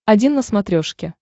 один на смотрешке